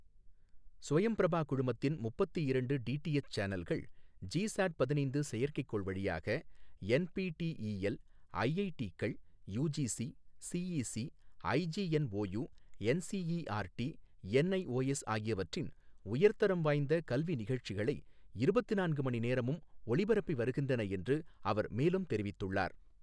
ஸ்வயம் பிரபா குழுமத்தின் முப்பத்து இரண்டு டிடிஎச் சேனல்கள், ஜிசாட் பதினைந்து செயற்கைக்கோள் வழியாக, என்பிடிஇஎல், ஐஐடிக்கள், UGC, CEC, IGNOU, NCERT, NIOS ஆகியவற்றின் உயர்தரம் வாய்ந்த கல்வி நிகழ்ச்சிகளை இருபத்து நான்கு மணி நேரமும் ஒளிபரப்பி வருகின்றன என்று அவர் மேலும் தெரிவித்துள்ளார்.